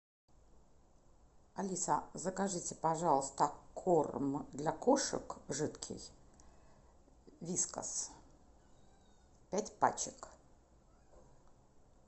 алиса закажите пожалуйста корм для кошек жидкий вискас пять пачек